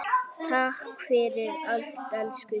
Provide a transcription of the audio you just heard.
Takk fyrir allt, elsku Svenni.